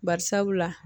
Bari sabula